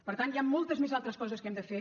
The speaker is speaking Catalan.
per tant hi han moltes més altres coses que hem de fer